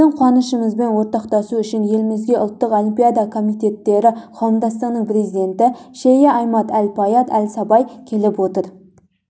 біздің қуанышымызбен ортақтасу үшін елімізге ұлттық олимпиада комитеттері қауымдастығының президенті шейі аімад әл-фаіад әл-сабаі келіп отыр